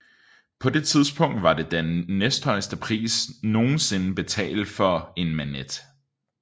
På det tidspunkt var det den næsthøjeste pris nogensinde betalt for en Manet